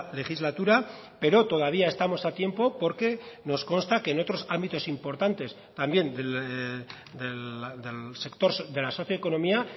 legislatura pero todavía estamos a tiempo porque nos consta que en otros ámbitos importantes también del sector de la socioeconomía